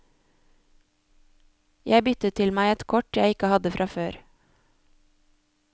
Jeg byttet til meg ett kort jeg ikke hadde fra før.